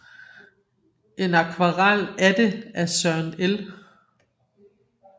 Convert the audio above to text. En akvarel af det af Søren L